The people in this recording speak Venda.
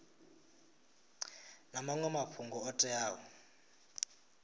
na maṅwe mafhungo o teaho